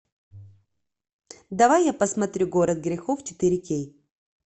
давай я посмотрю город грехов четыре кей